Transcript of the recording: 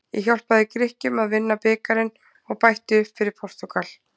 Ég hjálpaði Grikkjum að vinna bikarinn og bætti upp fyrir Portúgal.